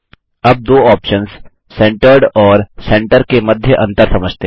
अब दो options centred और सेंटर के मध्य अंतर समझते हैं